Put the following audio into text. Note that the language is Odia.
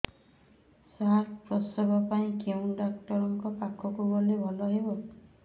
ସାର ପ୍ରସବ ପାଇଁ କେଉଁ ଡକ୍ଟର ଙ୍କ ପାଖକୁ ଗଲେ ଭଲ ହେବ